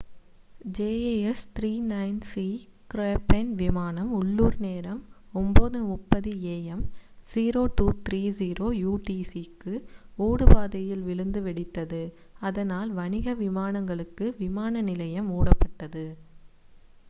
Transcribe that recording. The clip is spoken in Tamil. jas 39c க்ரப்பென் விமானம் உள்ளூர் நேரம் 9:30 am 0230 utc க்கு ஓடுபாதையில் விழுந்து வெடித்தது அதனால் வணிக விமானங்களுக்கு விமான நிலையம் மூடப்பட்டது